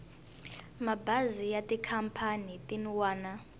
mabazi ya tikhampani tin wana